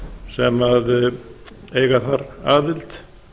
sem eiga þar aðild